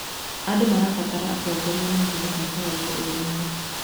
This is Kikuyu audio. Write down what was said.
Andũ marabatara atongoria mangĩhota kũrehe ũrũmwe.